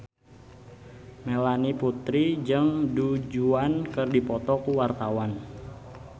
Melanie Putri jeung Du Juan keur dipoto ku wartawan